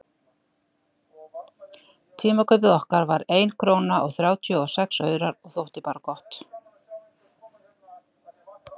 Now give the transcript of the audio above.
Tímakaup okkar var ein króna og þrjátíu og sex aurar og þótti bara gott.